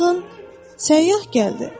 Baxın, səyyah gəldi.